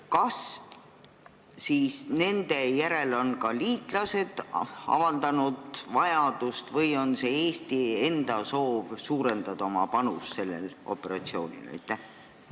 Kas nende järele näevad vajadust liitlased või on Eestil endal soov oma panust sellel operatsioonil suurendada?